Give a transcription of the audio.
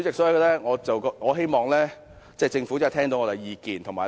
主席，我希望政府聽到我們的意見。